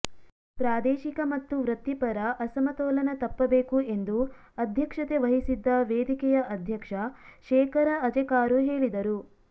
ಪ್ರಾದೇಶಿಕ ಮತ್ತು ವೃತ್ತಿ ಪರ ಅಸಮತೋಲನ ತಪ್ಪ ಬೇಕು ಎಂದು ಅಧ್ಯಕ್ಷತೆ ವಹಿಸಿದ್ದ ವೇದಿಕೆಯ ಅಧ್ಯಕ್ಷ ಶೇಖರ ಅಜೆಕಾರು ಹೇಳಿದರು